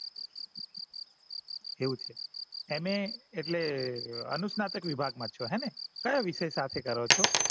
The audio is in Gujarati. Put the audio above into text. એવું છે m. a એટલે અનુસ્તાનક વિભાગ મા છો હેને કયા વિષય સાથે કરો છો